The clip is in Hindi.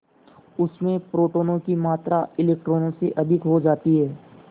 उसमें प्रोटोनों की मात्रा इलेक्ट्रॉनों से अधिक हो जाती है